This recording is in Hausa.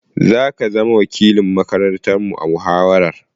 Za ka zama wakilin makarantarmu a muhawarar.